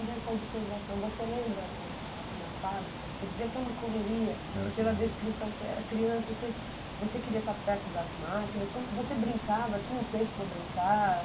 Nessa observação, você lembra na, ali na fábrica, porque devia ser uma correria pela descrição, você era criança, você você queria estar perto das máquinas, como, você brincava, tinha um tempo para brincar?